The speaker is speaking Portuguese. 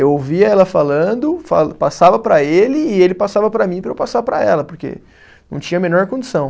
Eu ouvia ela falando, fa passava para ele e ele passava para mim para eu passar para ela, porque não tinha a menor condição.